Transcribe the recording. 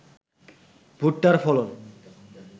ভুট্টার ফলন